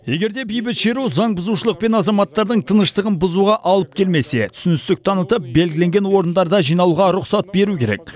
егер де бейбіт шеру заңбұзушылық пен азаматтардың тыныштығын бұзуға алып келмесе түсіністік танытып белгіленген орындарда жиналуға рұқсат беру керек